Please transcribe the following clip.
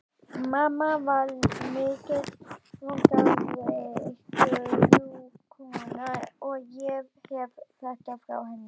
Mamma var mikil garðyrkjukona, og ég hef þetta frá henni.